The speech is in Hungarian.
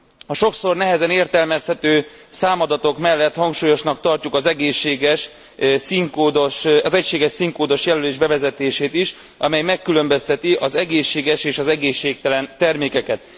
A sokszor nehezen értelmezhető számadatok mellett hangsúlyosnak tartjuk az egységes színkódos jelölés bevezetését is, amely megkülönbözteti az egészséges és az egészségtelen termékeket.